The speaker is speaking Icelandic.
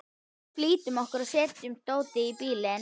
Við flýttum okkur að setja dótið í bílinn.